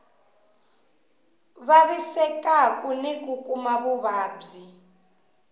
vavisekaku ni ku kuma vuvabyi